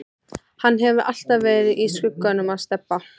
Hann hefur alltaf verið í skugganum af Stebba.